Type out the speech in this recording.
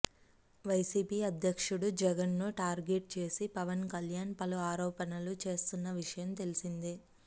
YCP అధ్యక్షుడు జగన్ను target చేసి పవన్ కల్యాణ్ పలు ఆరోపణలు చేస్తున్న విషయం తెలిసిందే